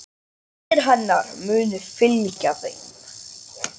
Bænir hennar munu fylgja þeim.